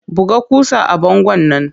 Buga ƙusa a bangon nan!